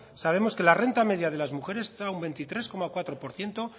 sabemos que la renta media de las mujeres está a un veintitrés coma cuatro por ciento